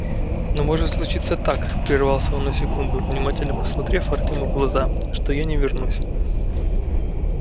но может случиться так прервался он на секунду внимательно посмотрев артему в глаза что я не вернусь